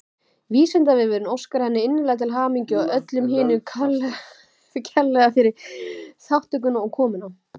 Vísindavefurinn óskar henni innilega til hamingju og öllum hinum kærlega fyrir þátttökuna og komuna.